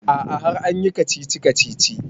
A'a har an yi kacici-kacici